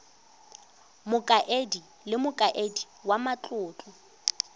mokaedi le mokaedi wa matlotlo